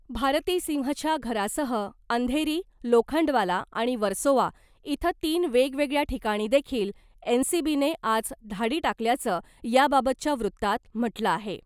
भारती सिंहच्या घरासह अंधेरी , लोखंडवाला आणि वर्सोवा इथं तीन वेगवेगळ्या ठिकाणी देखील एनसीबीने आज धाडी टाकल्याचं याबाबतच्या वृत्तात म्हटलं आहे .